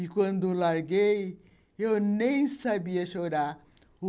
E quando larguei, eu nem sabia chorar.